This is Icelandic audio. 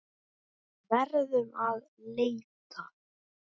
Verðum að leita.